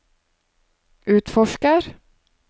utforsker